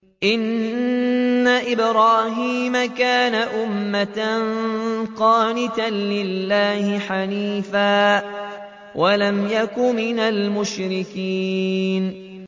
إِنَّ إِبْرَاهِيمَ كَانَ أُمَّةً قَانِتًا لِّلَّهِ حَنِيفًا وَلَمْ يَكُ مِنَ الْمُشْرِكِينَ